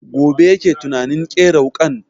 Gobe yake tunanin ƙera wuƙan